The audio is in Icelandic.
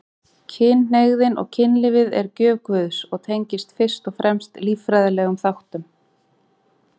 Kynhneigðin og kynlífið er gjöf Guðs og tengist fyrst og fremst líffræðilegum þáttum.